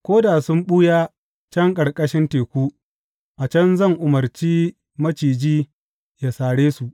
Ko da sun ɓuya can ƙarƙashin teku, a can zan umarci maciji yă sare su.